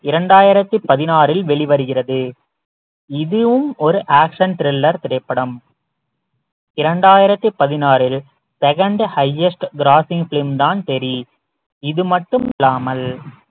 இரண்டாயிரத்தி பதினாறில் வெளிவருகிறது இதுவும் ஒரு action thriller திரைப்படம் இரண்டாயிரத்தி பதினாறில் second highest grossing film தான் தெறி இது மட்டும் இல்லாமல்